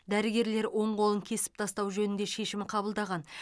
дәрігерлер оң қолын кесіп тастау жөнінде шешім қабылдаған